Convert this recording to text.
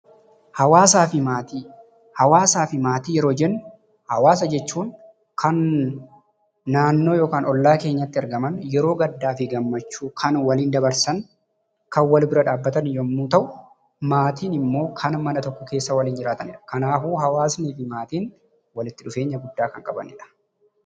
Hawwaasaa fi Maatii: Hawwaasa fi maatii yeroo jennu hawwaasa jechuun kan naannoo yookaan ollaa keenyatti argaman yeroo gaddaa fi gammachuu kan waliin dabarsan, kan wal bira dhaabbatan yemmuu ta'u, maatiin immoo kan mana tokko keessa waliin jiraatanidha. Kanaafuu hawwaasaa fi maatiin walitti dhufeenya guddaa kan qabanidha.